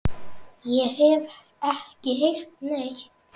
Ég hef ekki heyrt neitt.